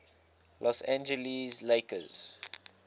los angeles lakers